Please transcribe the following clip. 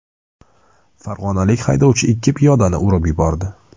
Farg‘onalik haydovchi ikki piyodani urib yubordi.